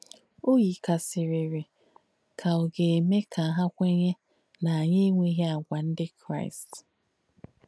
Ò yìkàrìsìrì kà ọ̀ gà-èmē kà hà kwènyē nà ànyì ènwéghī àgwà ndí Kráīst.